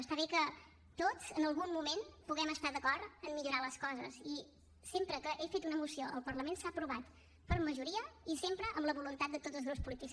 està bé que tots en algun moment puguem estar d’acord en millorar les coses i sempre que he fet una moció al parlament s’ha aprovat per majoria i sempre amb la voluntat de tots els grups polítics